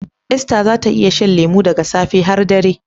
Esther za ta iya shan lemu daga safe har dare.